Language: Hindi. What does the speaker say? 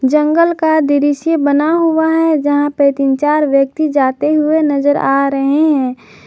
जंगल का दृश्य बना हुआ है जहां पे तीन चार व्यक्ति जाते हुए नजर आ रहे हैं।